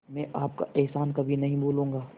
मैं आपका एहसान कभी नहीं भूलूंगा